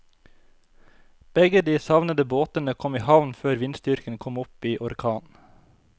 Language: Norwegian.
Begge de savnede båtene kom i havn før vindstyrken kom opp i orkan.